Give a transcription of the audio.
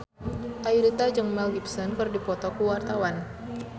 Ayudhita jeung Mel Gibson keur dipoto ku wartawan